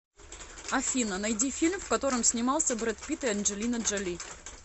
афина найди фильм в котором снимался бред пит и анджелина джоли